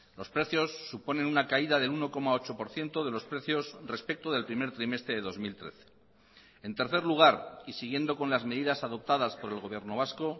los precios suponen una caída del uno coma ocho por ciento de los precios respecto del primer trimestre de dos mil trece en tercer lugar y siguiendo con las medidas adoptadas por el gobierno vasco